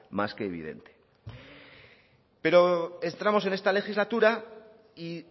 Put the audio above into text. más que evidente pero entramos en esta legislatura y